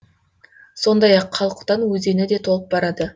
сондай ақ қалқұтан өзені де толып барады